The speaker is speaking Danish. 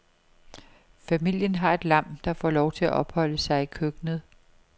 Familien har et lam, der får lov til at opholde sig i køkkenet.